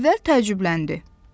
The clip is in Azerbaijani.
Əvvəl təəccübləndi.